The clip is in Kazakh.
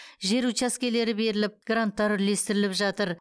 жер учаскелері беріліп гранттар үлестіріліп жатыр